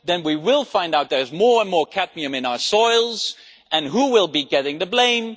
And if we find out there is more and more cadmium in our soils, and who will be getting the blame?